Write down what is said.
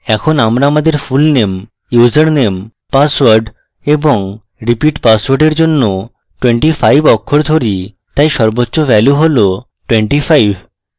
এখন আমরা আমাদের fullname username পাসওয়ার্ড এবং repeat পাসওয়ার্ডের জন্য 25 অক্ষর ধরি তাই সর্বোচ্চ value হল 25